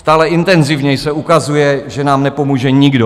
Stále intenzivněji se ukazuje, že nám nepomůže nikdo.